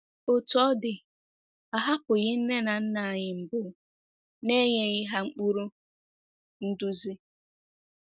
Otú ọ dị, a hapụghị nne na nna anyị mbụ n’enyeghị ha ụkpụrụ nduzi.